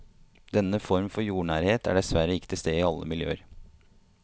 Denne form for jordnærhet er dessverre ikke til stede i alle miljøer.